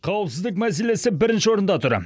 қауіпсіздік мәселесі бірінші орында тұр